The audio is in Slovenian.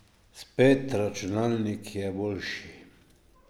Spet, računalnik je boljši.